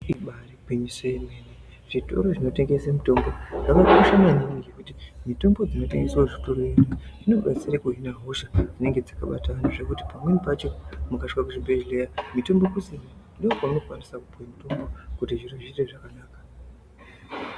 Ibari gwinyiso remene zvitoro zvinotengesa mitombo zvakakosha maningi ngekuti mitombo inotengeswa muzvitoro izvi inoshandiswa kuhina hosha dzinenge zvakabatana ngekuti pamweni pacho mukasvika kuzvibhedhlera mitombo kusina ndokwaunokwanisa kupuwa kuti zviro zviite zvakanaka.